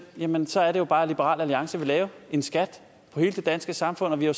jamen så er det jo bare at liberal alliance vil lave en skat på hele det danske samfund og vi har